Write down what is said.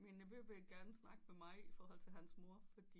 Mine nevø vil gerne snakke med mig iforhold til hans mor fordi